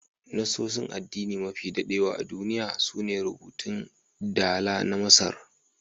Nassosin addini mafi dadewa a duniya su ne rubutun dala na Masar.